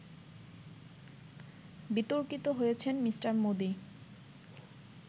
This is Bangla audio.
বিতর্কিত হয়েছেন মি: মোদি